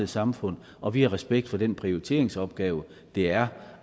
samfundet og vi har respekt for den prioriteringsopgave det er